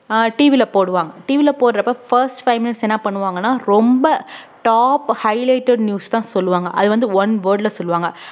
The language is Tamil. ஆஹ் TV ல போடுவாங்க TV ல போடுறப்ப first five minutes என்ன பண்ணுவாங்கன்னா ரொம்ப top highlighted news தான் சொல்லுவாங்க அது வந்து one word ல சொல்லுவாங்க